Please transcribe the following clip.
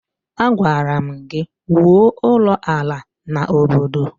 Agwara m gi wụọ ụlọ ala na obodo!